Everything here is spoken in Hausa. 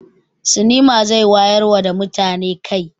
Sinima zai wayarwa da mutane kai.